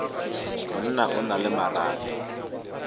monna o na le marato